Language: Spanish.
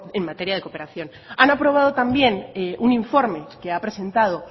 en materia de cooperación han aprobado también un informe que ha presentado